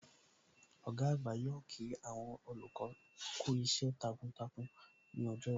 Ọ̀gá àgbà yóò kí àwọn olùkọ́ kú iṣẹ́ takuntakun ní ọjọ́ iwájú